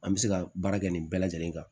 An bɛ se ka baara kɛ nin bɛɛ lajɛlen kan